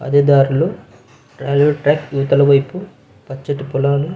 అదే దారిలో railway track ఇవతలి వైపు పచ్చటి పొలాలు --